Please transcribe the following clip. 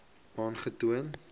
aangetoon